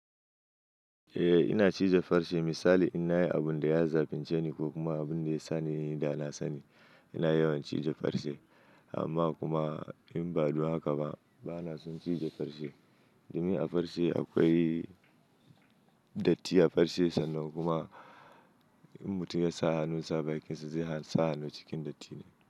Eh ina cize farce misali in nayi abun da ya zafince ni ko kuma abun da ya sani yanda na sani ina yawan cije farce amma kuma inba dun haka ba bana son cije farce. Domin a farce akwai datti a farce sannan kuma in mutum ya sa hannu sa bakin sa zai sa hannu cikin datti ne.